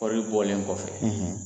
Kɔri bɔlen kɔfɛ